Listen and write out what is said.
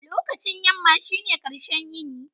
Lokacin yamma shine ƙarshen yini.